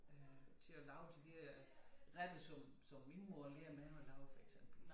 Øh til at lave de der retter som som min mor lærte mig at lave for eksempel